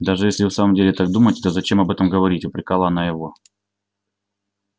даже если вы в самом деле так думаете то зачем об этом говорить упрекала она его